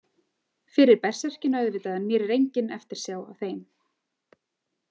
Fyrir berserkina auðvitað en mér er engin eftirsjá að þeim.